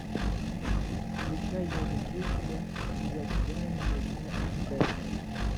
включай я люблю тебя я тебя не люблю аш дэ